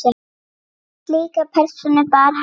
Slíka persónu bar hann.